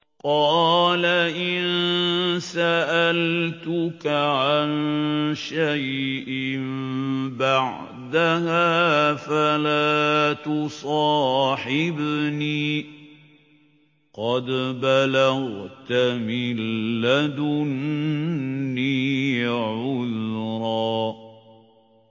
قَالَ إِن سَأَلْتُكَ عَن شَيْءٍ بَعْدَهَا فَلَا تُصَاحِبْنِي ۖ قَدْ بَلَغْتَ مِن لَّدُنِّي عُذْرًا